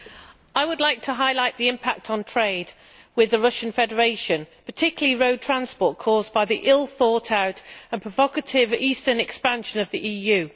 Mr President, I would like to highlight the impact on trade with the Russian Federation, particularly road transport, caused by the ill thought-out and provocative eastern expansion of the EU.